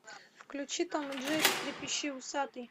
включи том и джерри трепещи усатый